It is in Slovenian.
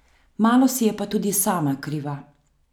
Malo si je pa tudi sama kriva.